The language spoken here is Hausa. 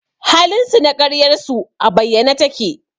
halinsu na ƙaryarsu a bayyane take